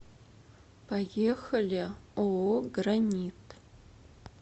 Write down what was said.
поехали ооо гранит